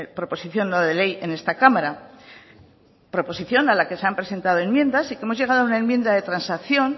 proposición no de ley en esta cámara proposición a la que se han presentado enmiendas y que hemos llegado a una enmienda de transacción